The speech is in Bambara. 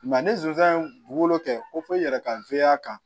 Nka ni zon ye dugukolo kɛ ko i yɛrɛ ka kan